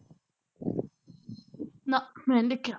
ਨਾ ਮੈਨੀ ਦੇਖਿਆ